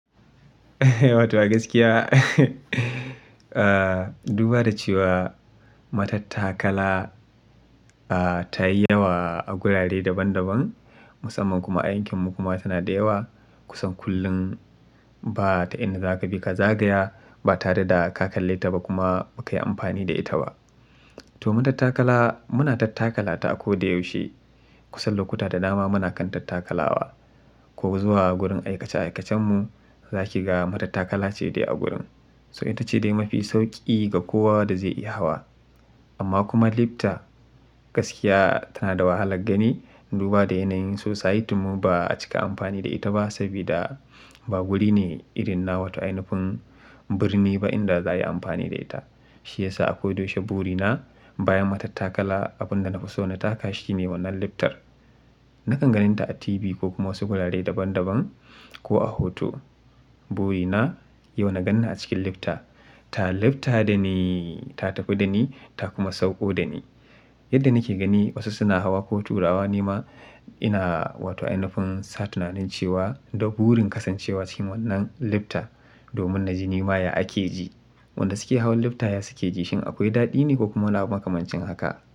Wato a gaskiya, duba da cewa matattakala, ah, ta yi yawa a gurare daban daban musamman kuma aikin mu kuma tana da yawa. Kusan kullum ba ta inda ka bi ka zagaya ba tare da ka kalle ta ba kuma ba ka yi amfani da ita ba. To matattakala muna tattakalata a ko da yaushe. Kusan lokuta da dama muna kan tattakalawa ko zuwa gurin aikace aikacenmu za ki ga matattakala ce dai a gurin. To ita ce dai mafi sauƙi ga kowa da zai iya hawa. Amma kuma lifta gaskiya tana da wahalar gani duba da yanayin sosaitinmu ba a cika amfani da ita ba saboda ba wuri ne irin na wata inafun birni ba inda za a yi amfani da ita. Shi ya sa a ko da yaushe buri na bayan matattakala abin da na fi so na taka shi ne wannan liftar. Nakan ganin ta a TV ko kuma wasu wurare daban daban ko a hoto. Buri na yau na gan ni a cikin lifta, ta lifta da ni ta tafi da ni ta kuma sauƙo da ni. Yadda nake gani wasu suna hawa ko turawa ne ma ina wato inafun sa tunanin cewa duk burin kasancewa cikin wannan lifta domin na ji ni ma ya ake ji. Wanda suke hawan lifta ya suke ji shin akwai daɗi ne ko kuma na makamancin haka?